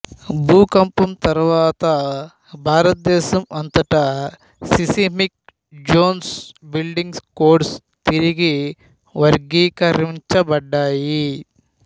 భూకంపం తరువాత భారతదేశం అంతటా సిసిమిక్ జోంస్ బిల్డింగ్ కోడ్స్ తిరిగి వర్గీకరించబడ్డాయి